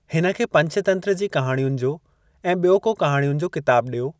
हिनखे पंचतंत्र जी कहाणयुनि जो ऐं बि॒यो को कहाणयुनि जो किताबु डि॒यो।